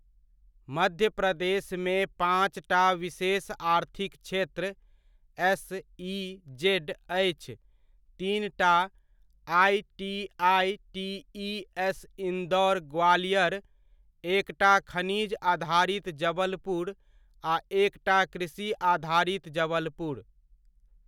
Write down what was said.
मध्य प्रदेशमे पाँचटा विशेष आर्थिक क्षेत्र एस.इ.जेड.अछि, तीनटा आइ.टी.आइ.टी.इ.एस.इन्दौर ग्वालियर, एकटा खनिज आधारित जबलपुर आ एकटा कृषि आधारित जबलपुर।